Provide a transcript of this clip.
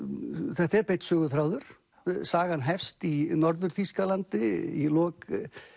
þetta er beinn söguþráður sagan hefst í Norður Þýskalandi í lok